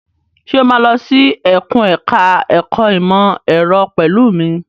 Ṣé o máa lọ sí ẹkùn ẹ̀ka ẹ̀kó ìmọ̀ ẹ̀rọ pẹ̀lú mi?